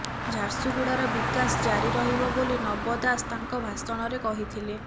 ଝାରସୁଗୁଡ଼ାର ବିକାଶ ଜାରି ରହିବ ବୋଲି ନବ ଦାସ ତାଙ୍କ ଭାଷଣରେ କହିଥିଲେ